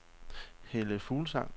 Helle Fuglsang